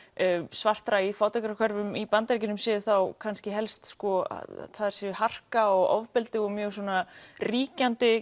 svartra í fátækrahverfum í Bandaríkjunum sé þá kannski helst að það sé harka og ofbeldi og mjög ríkjandi